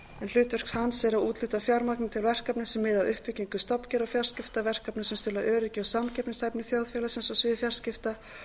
hlutverk hans er að úthluta fjármagni til verkefna sem miða að uppbyggingu stofnkerfa fjarskipta verkefna sem stuðla að öryggi og samkeppnishæfni þjóðfélagsins á sviði fjarskipta